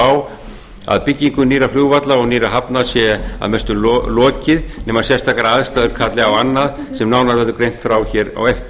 á að byggingu nýrra flugvalla og nýrra hafna sé að mestu lokið nema sérstakar aðstæður kalli á annað sem nánar verður greint frá á eftir